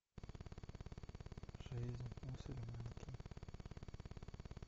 жизнь мусульманки